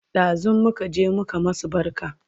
Ɗazun muka je muka masu barka